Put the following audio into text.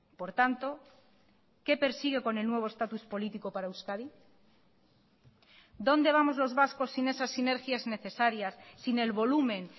por tanto qué persigue con el nuevo estatus político para euskadi dónde vamos los vascos sin esas sinergias necesarias sin el volumen